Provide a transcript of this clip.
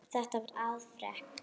Þetta var afrek.